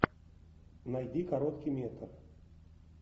найди короткий метр